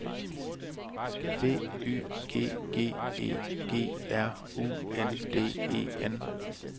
B Y G G E G R U N D E N